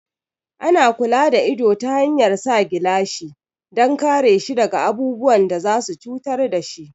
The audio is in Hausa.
Ana kula da ido ta hanyar sa gilashi dan kare shi daga abubuwan da za su cutar dashi